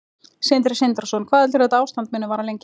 Sindri Sindrason: Hvað heldurðu að þetta ástand muni vara lengi?